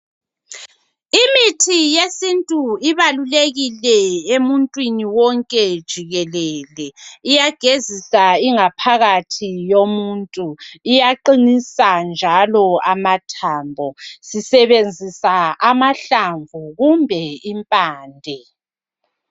Imithi yesintu ibalukekile emuntwini wonke jikelele iyagezisa ingaphakathi yomuntu iyaqinisa njalo amathambo sisebenzisa amahlamvu kumbe impande.